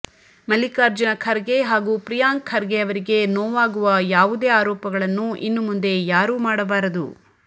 ಮಲ್ಲಿಕಾರ್ಜುನ ಖರ್ಗೆ ಹಾಗೂ ಪ್ರಿಯಾಂಕ್ ಖರ್ಗೆ ಅವರಿಗೆ ನೋವಾಗುವ ಯಾವುದೇ ಆರೋಪಗಳನ್ನು ಇನ್ನು ಮುಂದೆ ಯಾರೂ ಮಾಡಬಾರದು